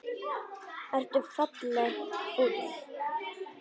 Ertu ferlega fúll?